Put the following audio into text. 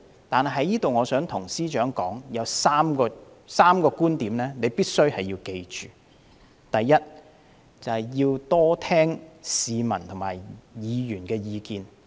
我在這裏想向司長說，有3點必須緊記：第一，要多聆聽市民和議員的意見。